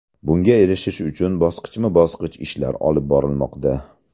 Bunga erishish uchun bosqichma-bosqich ishlar olib borilmoqda.